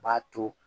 U b'a to